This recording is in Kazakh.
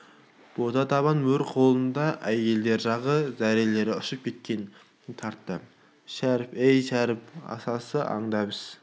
бота табан мөр қолында әйелдер жағы зәрелері ұшып шектерін тартты шәріп ей шәріп асасы аңдап іс